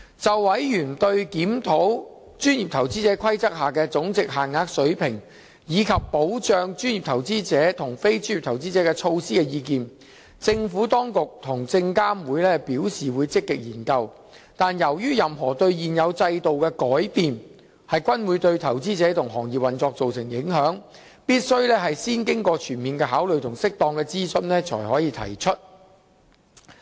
就委員對檢討《規則》下的總值限額水平，以及保障專業投資者及非專業投資者的措施的意見，政府當局及證監會表示會積極研究，但由於任何對現有制度的改變均會對投資者及行業運作造成影響，必須先經過全面考慮及適當諮詢才可提出。